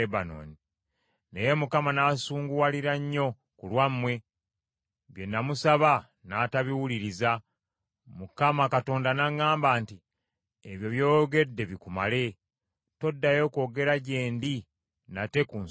Naye Mukama n’ansunguwalira nnyo ku lwammwe, bye namusaba n’atabiwuliriza. Mukama Katonda n’aŋŋamba nti, “Ebyo by’oyogedde bikumale; toddayo kwogera gye ndi nate ku nsonga eyo.